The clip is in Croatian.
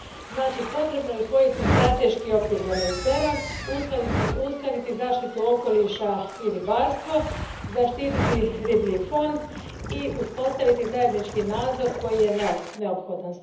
Znači, potrebno je usvojiti strateški okvir za Mediteran, uskladiti zaštitu okoliša i ribarstvo, zaštititi riblji fond i uspostaviti zajednički nadzor koji je neophodan.